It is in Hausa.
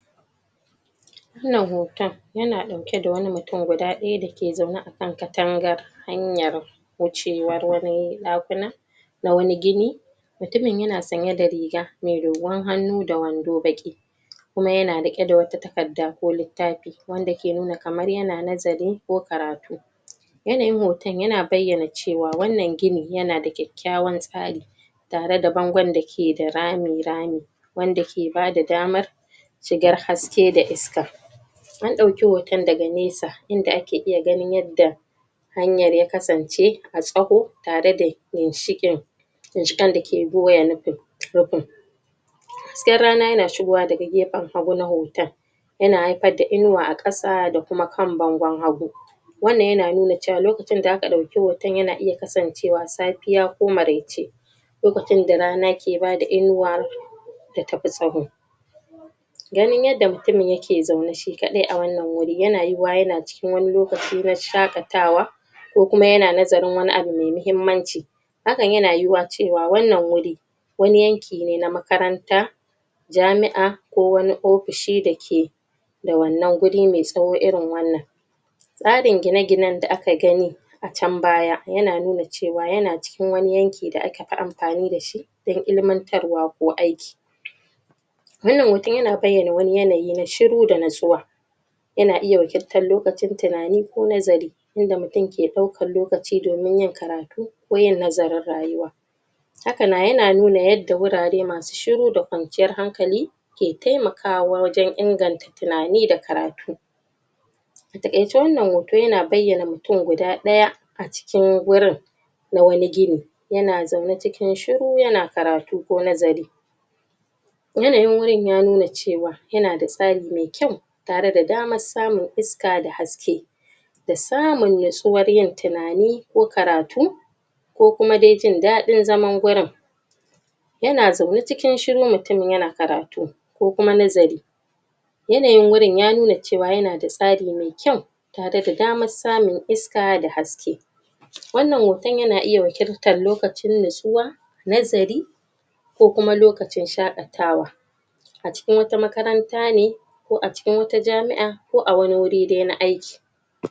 wannan hoton yana dauke da wani mutum guda ɗaya ya ke zaune a kan katangar hanyar wucen wani ɗakuna a wani gina mutumin yana sanye da riga mai dogon hannu da wando baki kuma yana riqe da wata takarda ko littafi wanda ke nuna kamar ya na nazari ko karatu yanayin hoton ya na bayyana cewa wannan ginin yana da kyakyawan tsari tare da bangon da ke da rami rami wanda ke bada damar shigar haske da iska an dauki hoton daga nesa yanda ake iya ganin yanda hanyar ya kasance a tsawo tare da ginshikin ginshiƙen da ke goya rufin haske rana yana shigowa daga gefen haggu na hoton yana haifar da inuwa da kuma kan bangon hagu wannan yana cewa lokacin da aka dauki hoton na iya kasancewa safiya ko maraice lokacin da rana ke bada inuwa da tafi tsawo ganin yadda mutumin yake zaune shi kadai a wannan wuri yana yuwuwa yana cikin lokaci na shakatawa ko kuma yana nazarin wani abu mai muhimmnaci hakan yana yiwuwa wannan wuri wani yanki ne na makaranta jami'a ko wani ofishi dake da wuri maitsawo irin wannan tsarin gine gine da aka gani acan baya yana nuna cewa yana cikin yanki da aka fi amfani da shi don ilimantarwa ko aiki wannan hoto yana bayyana wani yanayi shiru da nitsuwa yana iya wakiltar lokacin tinani ko nazari wanda mutum ke daukan lokaci domin yin karatu ko yin nazarin rayuwa haka ma nuna yadda wurare masu shiru da kwanciyar hankali ke temakawa wajen tinani da karatu a takaice wannan hoton yana nuna mutum guda daya acikin wurin na wani gini yana zaune cikin shiru yana karatu ko nazari yanayin wurin ya nuna cewa yana da tsari maikyau tare da samun iska da haske da samun nitsuwar yin tinani ko karatu ko kuma dai jin dadin zaman gurin yana zaune cikin shiru mutumin yana karatu ko kuma nazari yanayin wurin ya nuna cewa da tsari mai kyau tare da damar samun iska da haske wannnan hoton yana iya wakiltan lokacin nitsuwa nazari ko kuma lokacin shaqatawa acikin wata makaranta ne ko acikin wata jami'a ko awani wuri na aiki